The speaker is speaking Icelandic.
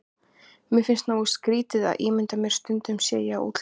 Mér finnst nógu skrýtið að ímynda mér stundum ég sé á útleið.